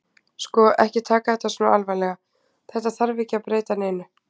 Sko. ekki taka þetta svona alvarlega. þetta þarf ekki að breyta neinu.